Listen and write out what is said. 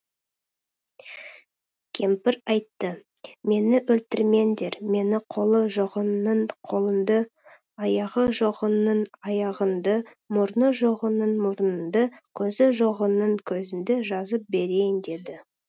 кемпір айтты мені өлтірмеңдер мен қолы жоғыңның қолыңды аяғы жоғыңның аяғыңды мұрны жоғыңның мұрныңды көзі жоғыңның көзіңді жазып берейін деді